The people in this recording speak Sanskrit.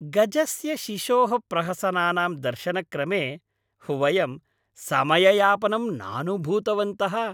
गजस्य शिशोः प्रहसनानां दर्शनक्रमे वयं समययापनं नानुभूतवन्तः।